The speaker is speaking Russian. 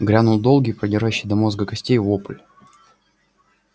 грянул долгий продирающий до мозга костей вопль